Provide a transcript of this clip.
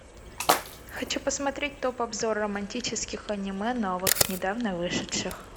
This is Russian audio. хочу посмотреть топ обзор романтических аниме новых недавно вышедших